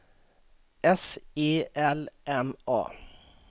S E L M A